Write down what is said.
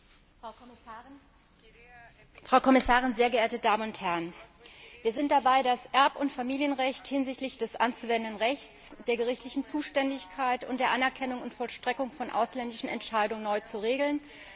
Herr Präsident, Frau Kommissarin, sehr geehrte Damen und Herren! Wir sind dabei, das Erb und Familienrecht hinsichtlich des anzuwendenden Rechts und der gerichtlichen Zuständigkeit und der Anerkennung und Vollstreckung von ausländischen Entscheidungen neu zu regeln.